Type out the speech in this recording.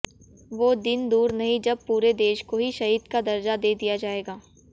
वो दिन दूर नहीं जब पूरे देश को ही शहीद का दर्जा दे दिया जाएगा